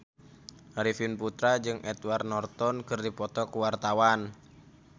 Arifin Putra jeung Edward Norton keur dipoto ku wartawan